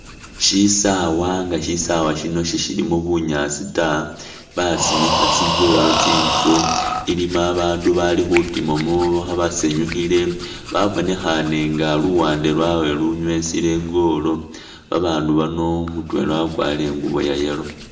Shisawa nga sishilimo bunyasi taa , basimikha tsi’goal tsinduro, ilimo abandu balikhutima basanyukhile babonekhane nga luwande lwawe lunwesile i’goal , abandu bano mutwela wakwarile ingubo iya’yellow